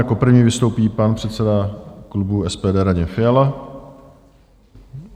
Jako první vystoupí pan předseda klubu SPD Radim Fiala.